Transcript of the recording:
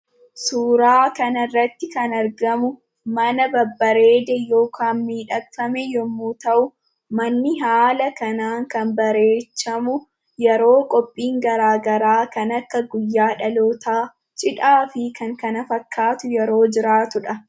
Suuraa kanarratti kan argamu mana babbareede yookaan miidhagfame yommuu ta'u, manni haala kanaan kan bareechamu, yeroo qophiin garaagaraa kan akka guyyaa dhalootaa ,cidhaa fi kan kana fakkaatu yeroo jiraatuudha.